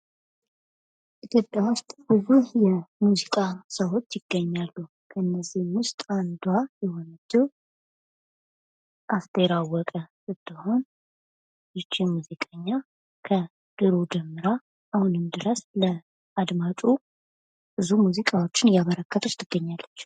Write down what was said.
ኢትዮጵያ ውስጥ ብዙ የሙዚቃ ሰዎች ይገኛሉ ከነዚህም ውስጥ አንዷ የሆነችው አስቴር አወቀ ስትሆን ይች ሙዚቀኛ ከድሮ ጀምራ አሁንም ድረስ ለአድማጩ ብዙ ሙዚቃዎችን እያበረከተች ትገኛለች።